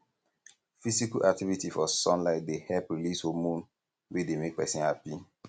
physical activity for sunlight dey help release homorne wey dey make person happy